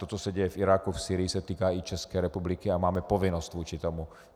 To, co se děje v Iráku, v Sýrii se týká i České republiky a máme povinnost vůči tomu.